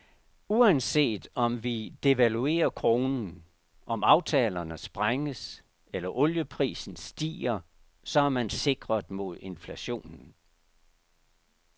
Uanset om vi devaluerer kronen, om aftalerne sprænges, eller olieprisen stiger, så er man sikret mod inflationen.